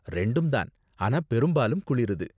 ரெண்டும்தான், ஆனா பெரும்பாலும் குளிருது.